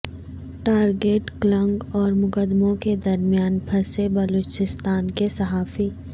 target killing اور مقدموں کے درمیان پھنسے بلوچستان کے صحافی